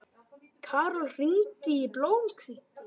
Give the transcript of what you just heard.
Karol, hringdu í Blómhvíti.